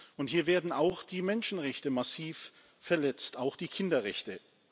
und hier werden auch die Menschenrechte massiv verletzt auch die Kinderrechte.